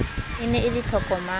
ne e le e tlokomang